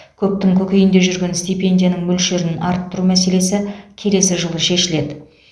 көптің көкейінде жүрген стипендияның мөлшерін арттыру мәселесі келесі жылы шешіледі